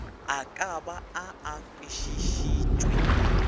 a ka ba a kwešitšwe